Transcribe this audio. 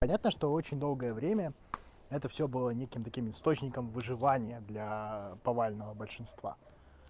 понятно что очень долгое время это всё было неким таким источником выживание для повального большинства